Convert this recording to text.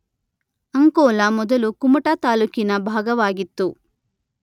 ಅಂಕೋಲ ಮೊದಲು ಕುಮಟಾ ತಾಲ್ಲೂಕಿನ ಭಾಗವಾಗಿತ್ತು.